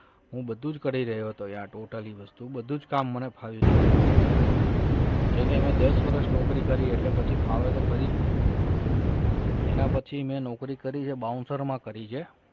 હું બધું જ કરી રહ્યો હતો યાર totally વસ્તુ બધું જ કામ મને ફાવી ગયું હતું તે જે મેં દસ વર્ષ નોકરી કરી એટલે પછી ફાવે તો ખરી જ ને એના પછી મેં નોકરી કરીએ bouncer માં કરી છે.